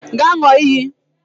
Gaa ṅụọ iyi